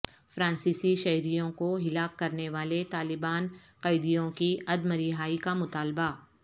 فرانسیسی شہریوں کو ہلاک کرنے والے طالبان قیدیوں کی عدم رہائی کا مطالبہ